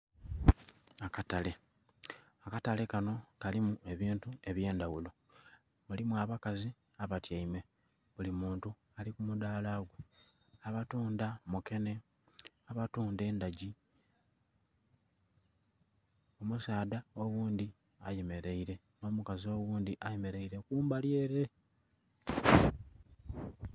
Akatale, akatale kanho kalimu ebintu eby'endhaghulo. Mulimu abakazi abatyaime, buli muntu ali ku mudaala gwe, abatundha mukenhe, abatundha endhagi. Omusaadha oghundhi ayemeleire nh'omukazi oghundhi ayemeleire kumbali ele.